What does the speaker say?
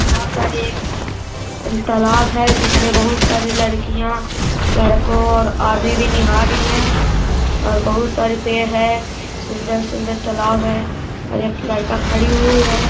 वहाँ पर एक तालाब है जिसमे बोहुत सारी लड़कियां लड़कों और भी निहार रही है और बोहुत सारे पेड़ हैं। सुंदर-सुंदर तालाब है और एक लड़का खड़ी हुई है।